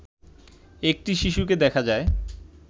একটি শিশুকে দেখা যায়